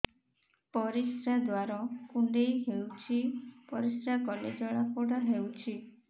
ପରିଶ୍ରା ଦ୍ୱାର କୁଣ୍ଡେଇ ହେଉଚି ପରିଶ୍ରା କଲେ ଜଳାପୋଡା ହେଉଛି